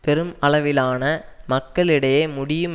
பெரும் அளவிலான மக்களிடையே முடியும்